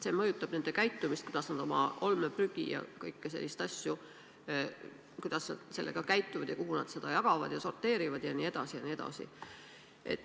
See mõjutab seda, kuidas nad oma olmeprügiga käituvad, kuhu selle panevad, kuidas seda sorteerivad jne.